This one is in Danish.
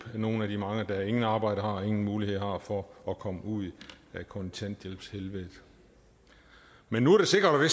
nogle af de mange der intet arbejde har og ingen muligheder har for at komme ud af kontanthjælpshelvedet men nu er det sikkert og